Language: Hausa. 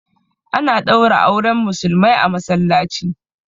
A na ɗaura auren Musulmai a Masallaci